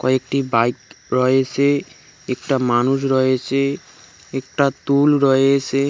কয়েকটি বাইক রয়েসে একটা মানুষ রয়েচে একটা তুল রয়েসে।